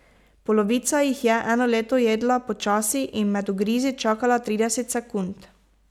Polovica jih je eno leto jedla počasi in med ugrizi čakala trideset sekund.